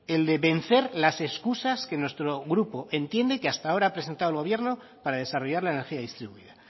el de vencer las excusas que nuestro grupo entiende que hasta ha presentado el gobierno para desarrollar la energía distribuida